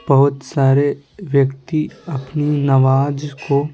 बहुत सारे व्यक्ति अपनी नवाज को--